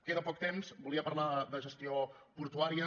queda poc temps volia parlar de gestió portuària